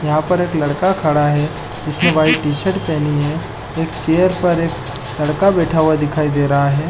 यहाँ पर एक लड़का खड़ा है जिसने वाइट टी_शर्ट पहनी है एक चेयर पर एक लड़का बैठा दिखाई दे रहा है ।